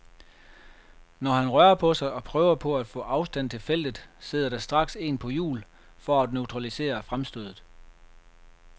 Når han rører på sig og prøver på at få afstand til feltet, sidder der straks en på hjul for at neutralisere fremstødet.